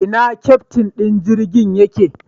Ina keftin din jirgin yake?